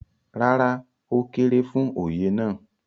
rárá, ó kéré fún Oyè náà